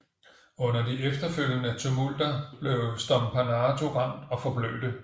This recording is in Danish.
Under de efterfølgende tumulter blev Stompanato ramt og forblødte